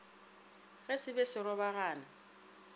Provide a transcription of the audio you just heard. ge se be se robagana